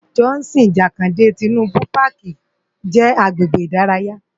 Johnson Jakande Tinubu Pàkí jè agbègbé idàráyá